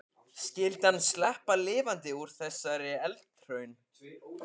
Skyldi hann sleppa lifandi úr þessari eldraun?